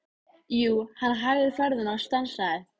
Jú, hann hægði ferðina og stansaði.